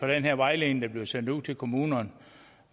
den her vejledning der bliver sendt ud til kommunerne